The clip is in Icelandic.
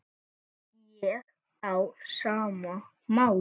Ég á sama máli.